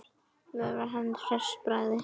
Veifar henni hress í bragði.